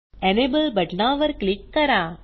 enable बटनावर click करा